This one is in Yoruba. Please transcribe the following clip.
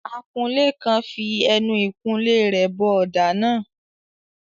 Akunlé kan fi ẹnu ìkunlé rẹ̀ bọ ọ̀dà náà.